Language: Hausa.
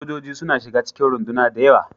Sojoji suna shiga cikin runduna da yawa.